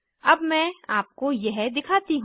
अब मैं आपको यह दिखाती हूँ